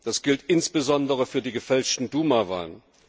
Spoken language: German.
Das gilt insbesondere für die gefälschten Duma Wahlen.